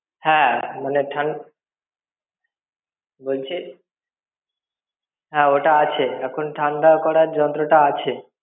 হ্যাঁ মানে ঠান~ বলছি, হ্যাঁ ওটা আছে, এখন ঠান্ডা করার যন্ত্রটা আছে।